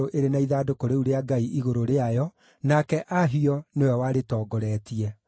ĩrĩ na ithandũkũ rĩu rĩa Ngai igũrũ rĩayo, nake Ahio nĩwe warĩtongoretie.